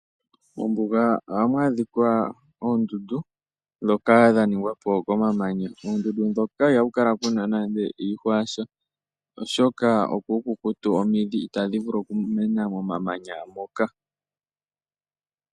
Mombuga ohamu adhika oondundu ndhoka dhaningwa po komamanya . Moondundu moka ihamu kala naanaa iihwa yasha , oshoka opuukukutu omidhi itadhi vulu okumena momamanya moka.